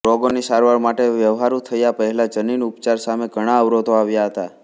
રોગોની સારવાર માટે વ્યવહારુ થયા પહેલા જનીન ઉપચાર સામે ઘણા અવરોધો આવ્યા હતા